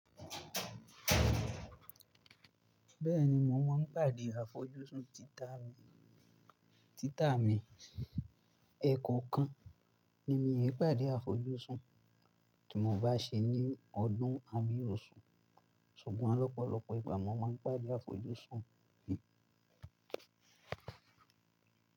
Bẹ́ẹ̀ni mo máa ń pàdé àfojúsùn títà mi, títà mi. Ẹ̀ẹ̀kọ̀kan ni mí pàdé àfojúsùn tí mo bá ṣe ní ọdún àbí osù, ṣùgbọ́n lọ́pọ̀lọpọ̀ ìgbà mo máa ń pàdé àfojúsùn mi.